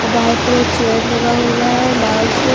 बाहर पूरा चेयर लगा हुआ है लाल चेय--